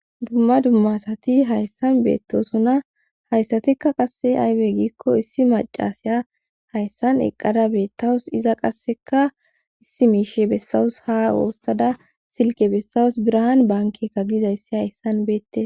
dumma dummasati hayssan beettosunna hayssatikka qasse aywe giikko issi macasiya hayssan eqqada beettawus iza qasseka issi miishe bessawus ha woossada silke bessawus birahan bankekka gizayssi hayssan beette